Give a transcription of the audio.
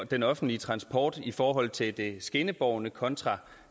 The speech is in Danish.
den offentlige transport i forhold til det skinnebårne kontra